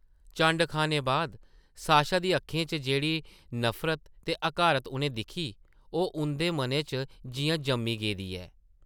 चंड खाने बाद साशा दी अक्खें च जेह्ड़ी नफरत ते हकारत उʼनें दिक्खी ओह् उंʼदे मना च जिʼयां जम्मी गेदी ऐ ।